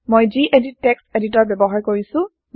মই যিএদিত text editor ব্যৱহাৰ কৰিছো